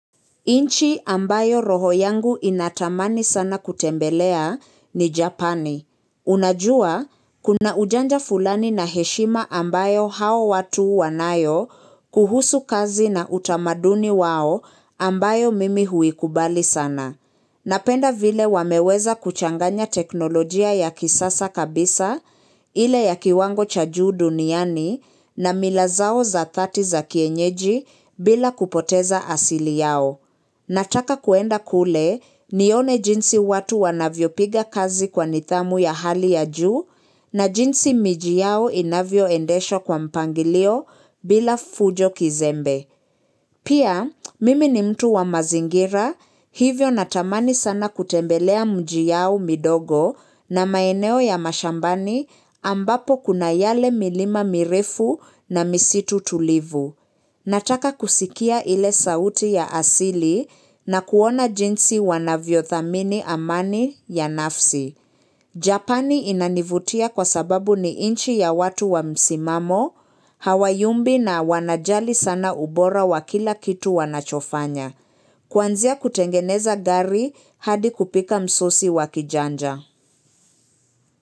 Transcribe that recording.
Nchi ambayo roho yangu inatamani sana kutembelea ni Japani. Unajua, kuna ujanja fulani na heshima ambayo hao watu wanayo kuhusu kazi na utamaduni wao ambayo mimi huikubali sana. Napenda vile wameweza kuchanganya teknolojia ya kisasa kabisa, ile ya kiwango cha juu duniani na mila zao za thati za kienyeji bila kupoteza asili yao. Nataka kuenda kule, nione jinsi watu wanavyo piga kazi kwa nidhamu ya hali ya juu na jinsi miji yao inavyoendeshwa kwa mpangilio bila fujo kizembe. Pia, mimi ni mtu wa mazingira, hivyo natamani sana kutembelea mji yao midogo na maeneo ya mashambani ambapo kuna yale milima mirefu na misitu tulivu. Nataka kusikia ile sauti ya asili na kuona jinsi wanavyothamini amani ya nafsi. Japani inanivutia kwa sababu ni nchi ya watu wa msimamo, hawayumbi na wanajali sana ubora wa kila kitu wanachofanya. Kwanzia kutengeneza gari hadi kupika msosi wakijanja.